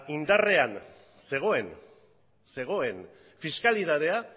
indarrean zegoen fiskalitatea